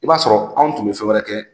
I b'a sɔrɔ anw tun bɛ fɛn wɛrɛ kɛ.